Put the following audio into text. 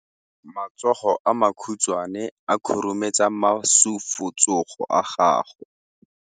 Matsogo a makhutshwane a khurumetsa masufutsogo a gago.